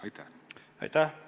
Aitäh!